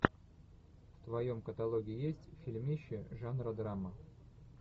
в твоем каталоге есть фильмище жанра драма